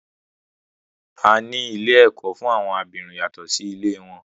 A ní ilé ẹ̀kọ́ fún àwọn abirùn yàtọ̀ sí ilé wọn.